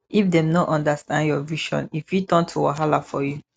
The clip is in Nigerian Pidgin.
if dem no understand your vision e fit turn to wahala for you